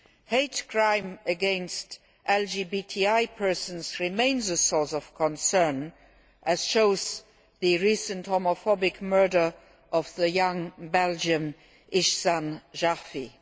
Hate crime against LGBTI persons remains a source of concern, as shown by the recent homophobic murder of the young Belgian Ihsane Jarfi.